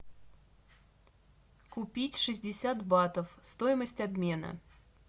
купить шестьдесят батов стоимость обмена